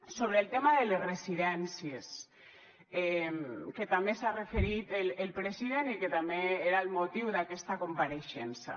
sobre el tema de les residències que també s’hi ha referit el president i que també era el motiu d’aquesta compareixença